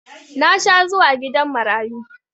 Na sha zuwa gidan marayu